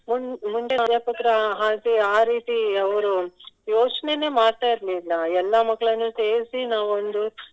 ಮುಂಚಿನ್ ಅಧ್ಯಾಪಕರು ಹಾಗೆ ಆ ರೀತಿ ಅವರು ಯೋಚ್ನೇನೆ ಮಾಡ್ತಾ ಇರ್ಲಿಲ್ಲ ಎಲ್ಲ ಮಕ್ಳನ್ನು ಸೇರ್ಸಿ ನಾವೊಂದು